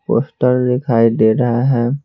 Poster दिखाई दे रहा है।